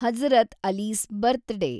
Hazrat Ali's ಬರ್ತ್‌ day